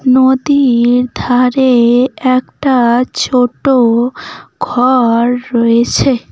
নদীর ধারে একটা ছোট ঘর রয়েছে।